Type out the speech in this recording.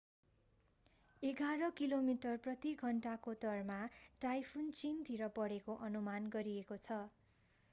एघार किलोमिटर प्रति घन्टाको दरमा टाइफुन चीनतिर बढेको अनुमान गरिएको छ